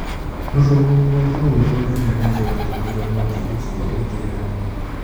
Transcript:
Rũhuho rũu rũnene nĩ rwatũmire mwaki ũcio ũthereme.